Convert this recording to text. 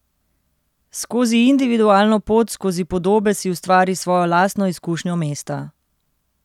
Skozi individualno pot skozi podobe si ustvari svojo lastno izkušnjo mesta.